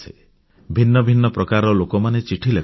ଭିନ୍ନ ଭିନ୍ନ ପ୍ରକାରର ଲୋକମାନେ ଚିଠି ଲେଖନ୍ତି